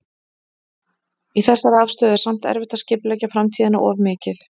Í þessari aðstöðu er samt erfitt að skipuleggja framtíðina of mikið.